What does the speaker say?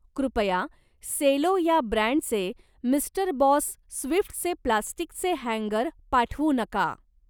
कृपया सेलो या ब्रँडचे मिस्टर बॉस स्विफ्टचे प्लास्टिकचे हँगर पाठवू नका.